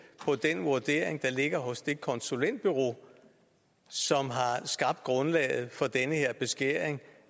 på den vurdering der ligger hos det konsulentbureau som har skabt grundlaget for den her beskæring